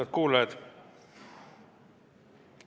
Head kuulajad!